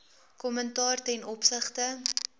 kommentaar ten opsigte